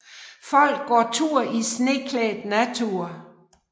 Folk går tur i sneklædt natur